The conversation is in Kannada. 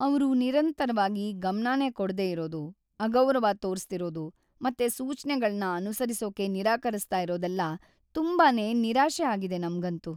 ಅವ್ರು ನಿರಂತರವಾಗಿ ಗಮನನೇ ಕೊಡ್ದೇ ಇರೋದು, ಅಗೌರವ ತೋರಿಸ್ತಿರೋದು ಮತ್ತೆ ಸೂಚ್ನೆಗಳ್ನ ಅನುಸರಿಸೋಕೆ ನಿರಾಕರಿಸ್ತಾ ಇರೋದೆಲ್ಲ ತುಂಬಾನೇ ನಿರಾಶೆ ಆಗಿದೆ ನಮ್ಗಂತೂ.